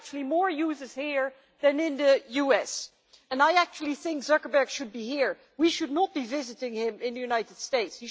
There are actually more users here than in the US, and I think Zuckerberg should be here. We should not be visiting him in the United States.